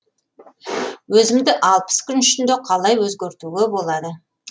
өзімді алпыс күн ішінде қалай өзгертуге болады